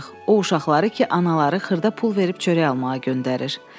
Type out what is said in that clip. O uşaqları ki, anaları xırda pul verib çörək almağa göndərir.